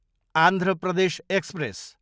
Andhra Pradesh express